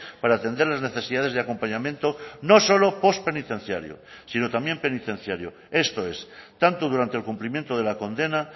para atender las necesidades de acompañamiento no solo postpenitenciario sino también penitenciario esto es tanto durante el cumplimiento de la condena